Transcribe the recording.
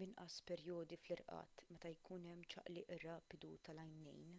b'inqas perjodi fl-irqad meta jkun hemm ċaqliq rapidu tal-għajnejn